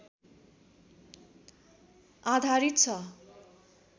आधारित छ